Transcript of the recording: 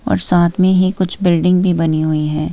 और साथ में ही कुछ बिल्डिंग भी बनी हुई है।